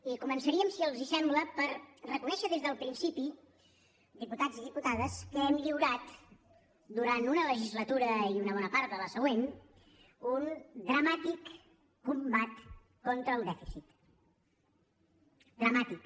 i començaríem si els sembla per reconèixer des del principi diputats i diputades que hem lliurat durant una legislatura i una bona part de la següent un dramàtic combat contra el dèficit dramàtic